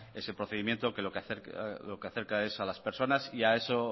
ese procedimiento que lo que acerca es a las personas y a